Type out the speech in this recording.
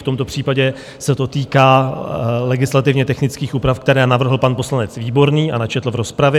V tomto případě se to týká legislativně technických úprav, které navrhl pan poslanec Výborný a načetl v rozpravě.